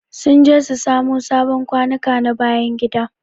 Sun je su samo sabon kwanuka na bayan gida.